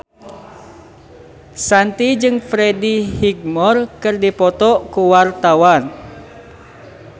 Shanti jeung Freddie Highmore keur dipoto ku wartawan